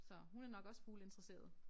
Så hun er nok også fugleinteresseret